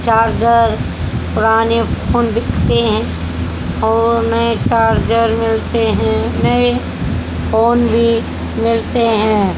Charger पुराने phone बिकते है और नए चार्जर मिलते है नए फोन भी मिलते है।